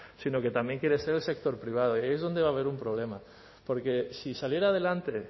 sino que también quiere ser el sector privado y ahí es donde va a haber un problema porque si saliera adelante